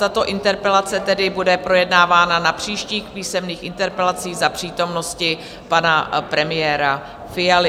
Tato interpelace tedy bude projednávána na příštích písemných interpelacích za přítomnosti pana premiéra Fialy.